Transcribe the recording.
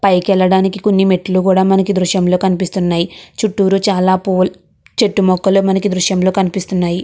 పైకి ఏలడానికి కొని మెట్లు కూడా మనకి దృశ్యంలో కనిపిస్తునాయి చుట్టూరు చాల పూలు చెట్టు మొక్కలు మనకి దృశ్యం లో కనిపిస్తున్నాయి.